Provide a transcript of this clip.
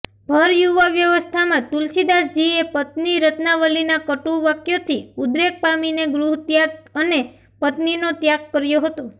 ભરયુવાવસ્થામાં તુલસીદાસજીએ પત્ની રત્નાવલીના કટુ વાક્યોથી ઉદ્વેગ પામીને ગૃહત્યાગ અને પત્નીનો ત્યાગ કર્યો હતો